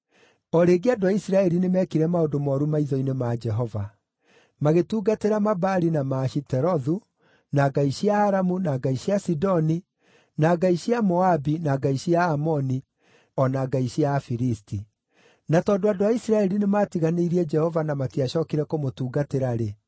O rĩngĩ andũ a Isiraeli nĩmekire maũndũ mooru maitho-inĩ ma Jehova. Magĩtungatĩra Mabaali na Maashitorethu, na ngai cia Aramu, na ngai cia Sidoni, na ngai cia Moabi, na ngai cia Aamoni, o na ngai cia Afilisti. Na tondũ andũ a Isiraeli nĩmatiganĩirie Jehova na matiacookire kũmũtungatĩra-rĩ,